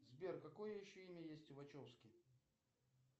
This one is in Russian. сбер какое еще имя есть у вачовски